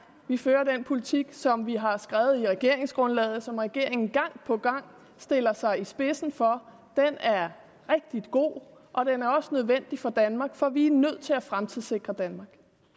vi fører den politik som vi har skrevet i regeringsgrundlaget som regeringen gang på gang stiller sig i spidsen for den er rigtig god og den er også nødvendig for danmark for vi er nødt til at fremtidssikre danmark